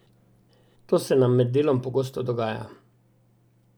To se nam med delom pogosto dogaja.